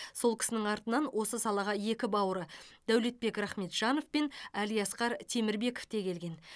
сол кісінің артынан осы салаға екі бауыры дәулетбек рахметжанов пен әлиасқар темірбеков те келген